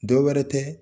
Dɔ wɛrɛ tɛ